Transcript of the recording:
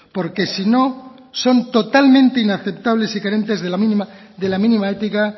porque si no son totalmente inaceptables y carentes de la mínima ética